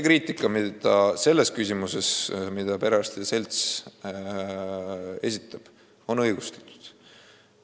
Kriitika, mis perearstide seltsist on tulnud, on õigustatud.